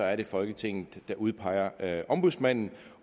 er det folketinget der udpeger ombudsmanden